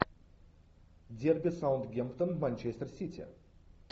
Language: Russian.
дерби саутгемптон манчестер сити